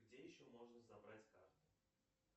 где еще можно забрать карту